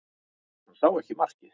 Hann sá ekki markið